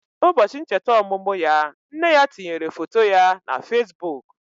Ụbọchị ncheta ọmụmụ ya, nne ya tinyere foto ya na Fesbụụk.